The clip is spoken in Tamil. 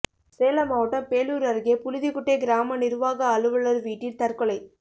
சேலம் மாவட்டம் பேளூர் அருகே புழுதிகுட்டை கிராம நிர்வாக அலுவலர் வீட்டில் தற்கொலை